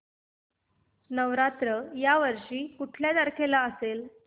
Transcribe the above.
नवरात्र या वर्षी कुठल्या तारखेला असेल